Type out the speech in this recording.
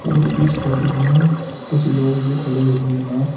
और इस फोटो में कुछ लोग भी खड़े हुए है ए--